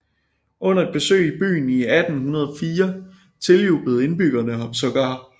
Under et besøg i byen i 1804 tiljublede indbyggerne ham sågar